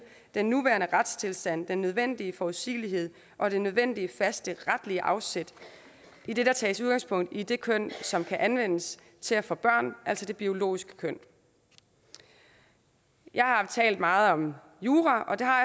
den nuværende retstilstand den nødvendige forudsigelighed og det nødvendige faste retlige afsæt idet der tages udgangspunkt i det køn som kan anvendes til at få børn altså det biologiske køn jeg har talt meget om jura og det har